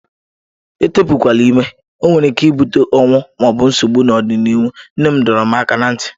Etepukwala ime, ọ nwere ike ibute ọnwụ ma ọ bụ nsogbu n'ọdịnihu, nne m dọrọ m aka ná ntị.